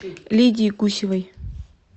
лидии гусевой